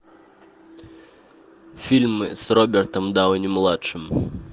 фильмы с робертом дауни младшим